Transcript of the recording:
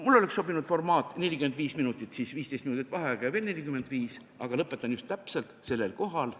Mulle oleks sobinud formaat, mis võimaldab 45 minutit rääkida, siis 15 minutit vaheaega võtta ja seejärel veel 45 minutit rääkida, aga lõpetan just täpselt selle koha peal.